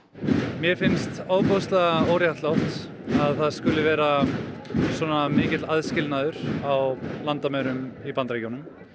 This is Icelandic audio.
mér finnst ofboðslega óréttlátt að það skuli vera svona mikill aðskilnaður á landamærum í Bandaríkjunum